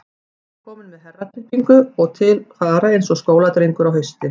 Hann var kominn með herraklippingu og til fara eins og skóladrengur á hausti.